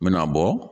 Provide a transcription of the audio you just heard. N me n'a bɔ